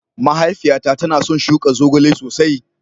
Mahaifiyata tana son shuka zogale sosai